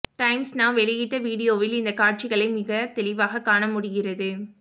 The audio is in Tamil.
டைம்ஸ் நவ் வெளியிட்ட வீடியோவில் இந்த காட்சிகளை மிகத் தெளிவாக காண முடிகிறது